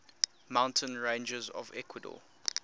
mountain ranges of ecuador